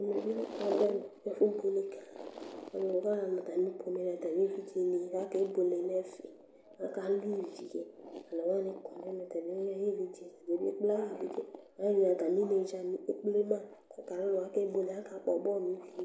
Ɛmɛ lɛ ɛfubueledza Aluwa nu atami pomɛni nu atami evidzeni akabuele nu ɛfɛ Aka lu ivi One wani kɔ Alu ɛdini atami inedzani ekple ma ɛdini akakpɔ bɔlu nu ivi yɛ li